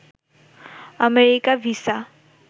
America visa